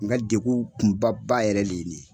N ka degun kunba ba yɛrɛ le ye ni ye.